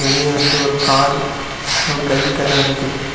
வெளிய வந்து ஒரு கார் ஒரு பைக் எல்லாம் நிக்குது.